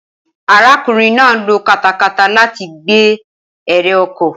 Arákùnrin náà lo katakata láti gbé eré oko